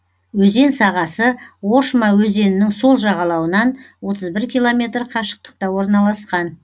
өзен сағасы ошма өзенінің сол жағалауынан отыз бір километр қашықтықта орналасқан